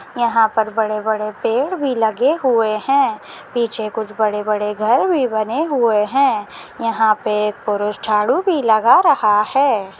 यहाँ पर बड़े बड़े पेड़ भी लगे हुए है पीछे कुछ बड़े बड़े घर भी बने हुए है यहाँ पे पुरुष झाड़ू भी लगा रहा है।